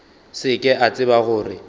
se ke a tseba gore